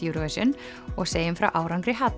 Eurovision og segjum frá árangri